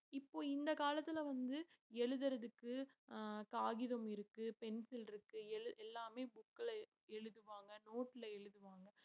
இப்போ இந்த காலத்திலே வந்து எழுதுறதுக்கு ஆஹ் காகிதம் இருக்கு pencil இருக்கு எழு~ எல்லாமே book ல எழுதுவாங்க note ல எழுதுவாங்க.